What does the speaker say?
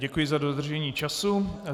Děkuji za dodržení času.